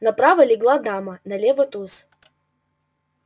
направо легла дама налево туз